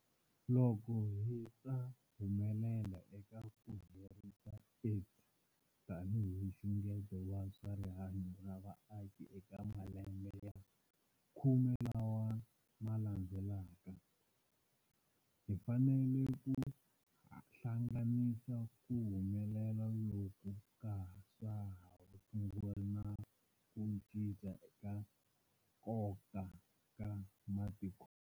Loko hi ta humelela eka ku herisa AIDS tanihi nxungeto wa swa rihanyu ra vaaki eka malembe ya khume lawa ma landzelaka, hi fanele ku hlanganisa ku humelela loku ka swa vutshunguri na ku cinca ka nkoka ka matikhomelo.